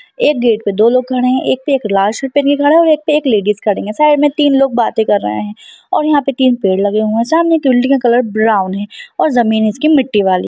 एक गेट पे दो लोग खड़े हैं एक पे एक लाल शर्ट पहन के खड़ा है और एक पे लेडीस खड़ी हैं साइड में तीन लोग बाते कर रहे हैं और यहां पे तीन पेड़ लगे हुए हैं सामने बिल्डिंग का कलर ब्राउन है और जमीन इसकी मिट्टी वाली।